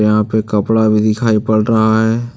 यहां पे कपड़ा भी दिखाई पड़ रहा है।